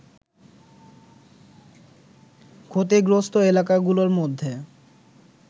ক্ষতিগ্রস্ত এলাকাগুলোর মধ্যে